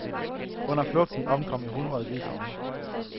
Under flugten omkom i hundredetusindvis af mennesker.